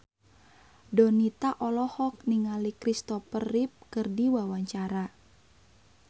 Donita olohok ningali Christopher Reeve keur diwawancara